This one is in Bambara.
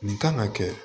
Nin kan ka kɛ